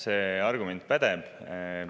See argument pädeb.